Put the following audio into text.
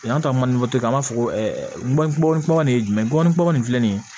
Yant mali tɛ an b'a fɔ ko ɛɛ gɔbɔnin gɔbɔni nin ye jumɛn gɔbɔni kɔgɔ nin filɛ nin ye